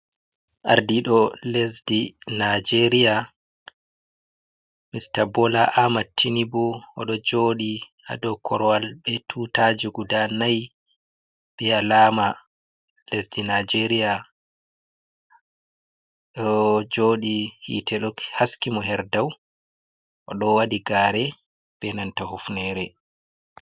Ardiɗo lesdi nijeria mr bola ahmad tinibo oɗo jodi ha dou korwal be tutaji guda nai be alama lesdi nijeria oɗo joɗi hitte haskimo her dau oɗo waɗi gare be nanta hufnere.